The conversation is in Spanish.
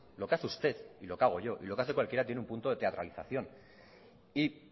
lo que hace usted y lo que hago yo y lo que hace cualquiera tiene un punto de teatralización y